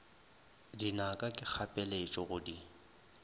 dinaka ke kgapeletšo go di